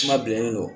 Kuma bilennen don